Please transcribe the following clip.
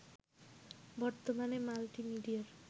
বর্তমানে মাল্টিমিডিয়ার